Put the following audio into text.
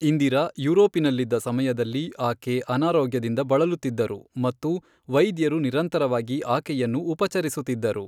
ಇಂದಿರಾ ಯುರೋಪಿನಲ್ಲಿದ್ದ ಸಮಯದಲ್ಲಿ, ಆಕೆ ಅನಾರೋಗ್ಯದಿಂದ ಬಳಲುತ್ತಿದ್ದರು ಮತ್ತು ವೈದ್ಯರು ನಿರಂತರವಾಗಿ ಆಕೆಯನ್ನು ಉಪಚರಿಸುತ್ತಿದ್ದರು.